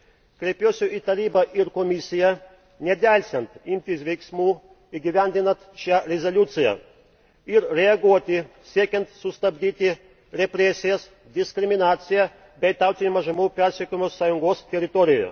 Kreipiuosi į Tarybą ir Komisiją nedelsiant imtis veiksmų įgyvendinant šią rezoliuciją ir reaguoti siekiant sustabdyti represijas, diskriminaciją bei tautinių mažumų persekiojimus Sąjungos teritorijoje.